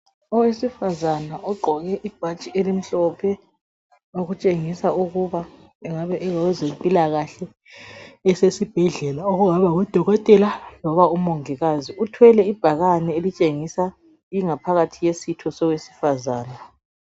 Owesifazana ogqoke ibhatshi elimhlophe okutshengisa ukuba engabe ongowezempilakahle esesibhdlela okungaba ngudokotela loba umongikazi, uthwele ibhakane elitshengisa ingaphakathi yesitho sowesifazana